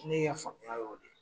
Ne y' faamuya y'o de ye.